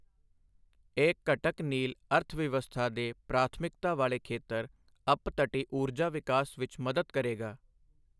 ਇਹ ਘਟਕ ਨੀਲ ਅਰਥਵਿਵਸਥਾ ਦੇ ਪ੍ਰਾਥਮਿਕਤਾ ਵਾਲੇ ਖੇਤਰ ਅਪਤਟੀ ਊਰਜਾ ਵਿਕਾਸ ਵਿੱਚ ਮਦਦ ਕਰੇਗਾ।